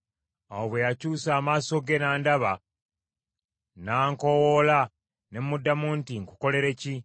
Awo bwe yakyusa amaaso ge n’andaba, n’ankowoola, ne muddamu nti, ‘Nkukolere ki?’